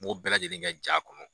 N m'o bɛɛ lajɛlen kɛ ja kɔnɔ